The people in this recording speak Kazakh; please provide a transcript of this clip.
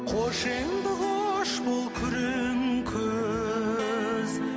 қош енді қош бол күрең күз